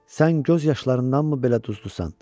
Sən göz yaşlarındanmı belə duzdusan?